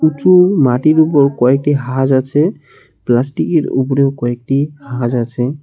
উঁচু মাটির উপর কয়েকটি হাজ আছে প্লাস্টিকের উপরেও কয়েকটি হাজ আছে।